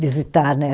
visitar, né?